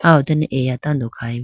aw done eya tando khayi bo.